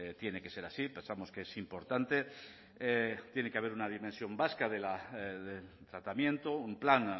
tiene que ser así pensamos que es importante tiene que haber una dimensión vasca del tratamiento un plan